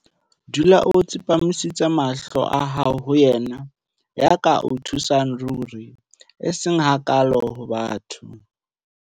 Dula o tsepamisiste mahlo a hao ho Yena ya ka o thusang ruri, eseng hakaalo ho batho.